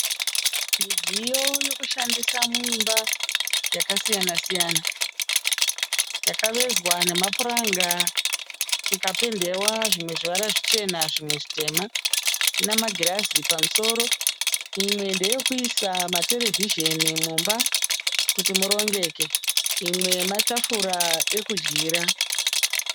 Midziyo yokushandisa muimba yakasiyana-siyana. Yakavezwa namapuranga ikapendewa zvimwe zvivara zvichena zvimwe zvitema ina magirazi pamusoro. Imwe ndeyokuisa materevhizheni mumba kuti murongeke . Imwe matafura ekudyira.